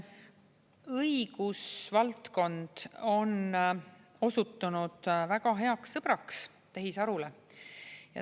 Õigusvaldkond on osutunud väga heaks sõbraks tehisarule.